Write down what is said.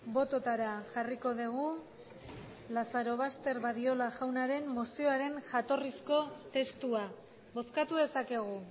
bototara jarriko dugu lazarobaster badiola jaunaren mozioaren jatorrizko testua bozkatu dezakegu